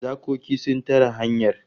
Zakoki sun tare hanyar